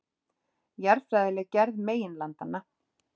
Jarðfræðileg gerð meginlandanna.